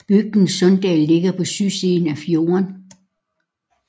Bygden Sunndal ligger på sydsiden af fjorden